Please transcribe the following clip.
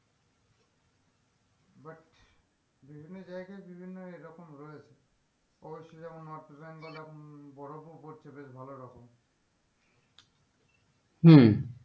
বিভিন্ন জাইগায় বিভিন্ন এরকম রয়েছে অবশ্য যেমন north bengal এ উহ বরফও পড়ছে বেশ ভালোরকম হম